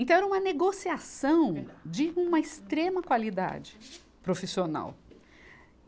Então era uma negociação de uma extrema qualidade profissional.